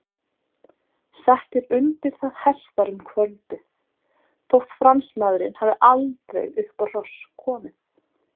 Settir undir það hestar um kvöldið, þótt Fransmaðurinn hafi aldrei upp á hross komið.